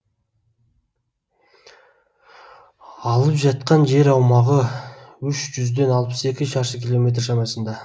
алып жатқан жер аумағы үш жүзден алпыс екі шаршы километр шамасында